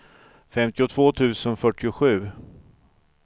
fyrtiotvå tusen fyrtiosju